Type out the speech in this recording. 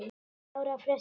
ára fresti.